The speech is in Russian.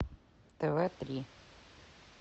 тв три